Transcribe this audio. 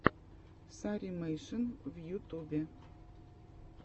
старимэйшн в ютубе